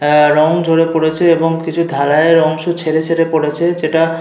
আহ রং ঝরে পড়েছে এবং কিছু ঢালাই এর অংশ ছেড়ে ছেড়ে পড়েছে যেটা --